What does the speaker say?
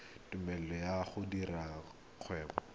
tumelelo ya go dira kgwebo